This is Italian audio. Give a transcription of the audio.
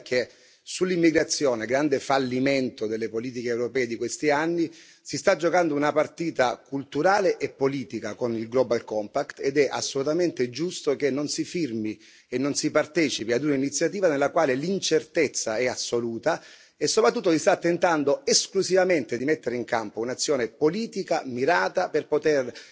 La verità è che sull'immigrazione grande fallimento delle politiche europee di questi anni si sta giocando una partita culturale e politica con il Global compact ed è assolutamente giusto che non si firmi e non si partecipi a una iniziativa nella quale l'incertezza è assoluta e soprattutto si sta tentando esclusivamente di mettere in campo un'azione politica mirata per poter